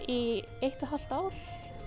í eitt og hálft ár